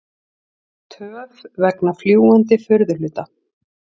Töf vegna fljúgandi furðuhluta